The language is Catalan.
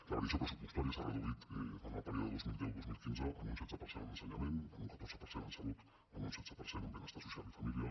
la variació pressupostària s’ha reduït en el període dos mil deu·dos mil quinze en un setze per cent en ensenyament en un catorze per cent en salut en un setze per cent en benestar social i família